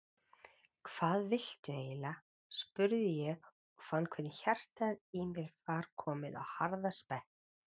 Hvað viltu eiginlega? spurði ég og fann hvernig hjartað í mér var komið á harðasprett.